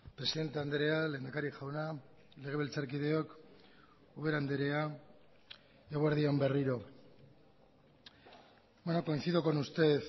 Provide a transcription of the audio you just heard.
presidente andrea lehendakari jauna legebiltzarkideok ubera andrea eguerdi on berriro coincido con usted